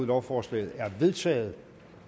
lovforslaget er vedtaget